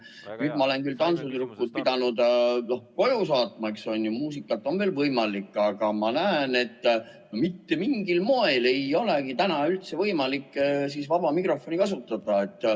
Nüüd ma olen küll tantsutüdrukud pidanud koju saatma, eks ole, muusikat on veel võimalik lasta, aga ma näen, et mitte mingil moel ei olegi täna üldse võimalik vaba mikrofoni kasutada.